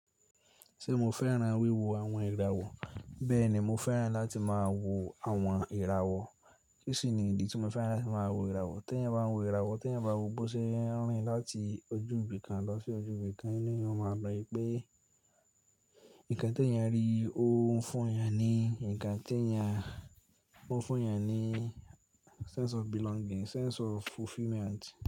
Ṣé mo fẹ́ràn wíwo àwọn ìràwọ̀? Bẹ́ẹ̀ ni, mo fẹ́ràn láti máa wo àwọn ìràwọ̀. Kí sì ni ìdí tí mo fẹ́ràn láti máa wo ìràwọ̀? T’èyàn bá ń wo ìràwọ̀, t’èyàn bá ń wo b’ó ṣe ń rìn, láti ojú ibi kan lọ sí ojú ibi kan, inú èèyàn yóò máa lọ pé, nǹkan tí èèyàn rí yìí ó ń fún'yàn ní nǹkan tí èèyàn, ó ń fún èèyàn ní sense of belonging, sense of fulfillment.